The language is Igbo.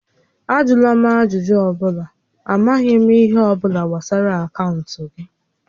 Ajụla m ajụjụ ọ bụla, a maghị m ihe ọ bụla gbasara akaụntụ gị!